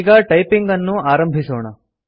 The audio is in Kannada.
ಈಗ ಟೈಪಿಂಗ್ ಅನ್ನು ಆರಂಭಿಸೋಣ